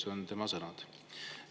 Need on tema sõnad.